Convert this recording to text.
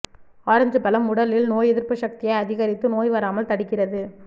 orange பழம் உடலில் நோய் எதிர்ப்பு சக்த்தியை அதிகரித்து நோய் வராமல் தடுக்கிறது